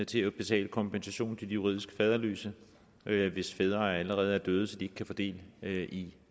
til at betale kompensation til de juridisk faderløse hvis fædre allerede er døde så de ikke kan få del i